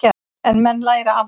En menn læra af því.